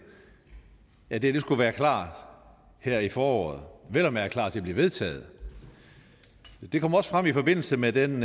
at dette skulle være klar her i foråret vel og mærke klar til at blive vedtaget det kom også frem i forbindelse med den